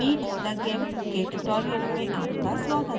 meet the gimp के tutorial में आपका स्वागत है